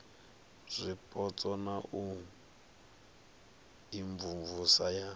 zwipotso na u imvumvusa ya